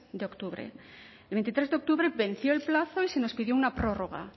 de octubre el veintitrés de octubre venció el plazo y se nos pidió una prórroga